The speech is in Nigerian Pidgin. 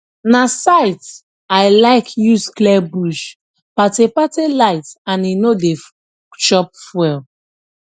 na scythe i like use clear bush pathe pathe light and e no dey chop fuel